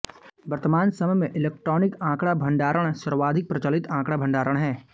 वर्तमान समय में इलेक्ट्रॉनिक आंकड़ा भण्डारण सर्वाधिक प्रचलित आंकड़ा भण्डारण है